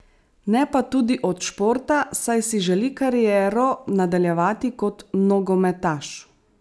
Ne pa tudi od športa, saj si želi kariero nadaljevati kot nogometaš.